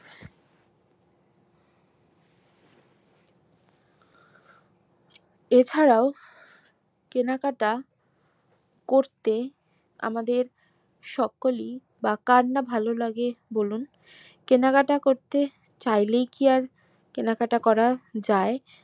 এ ছাড়াও কেনাকাটা করতে আমাদের সকলি বা কার না ভালো বলে বলুন কেনাকাটা করতে চাইলেই কি আর কেনাকাটা করা যাই